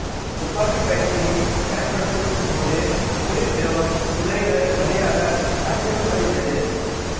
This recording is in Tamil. துப்பாக்கி பயிற்சி பயன்படுத்தும் போது குளிர் திரவம் துளைகள் வழியாக அறிமுகப்படுகிறது